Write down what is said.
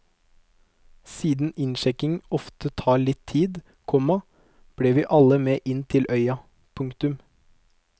Siden innsjekking ofte tar litt tid, komma ble vi alle med inn til øya. punktum